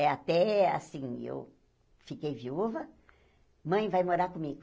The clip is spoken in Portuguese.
É até assim, eu fiquei viúva, mãe vai morar comigo.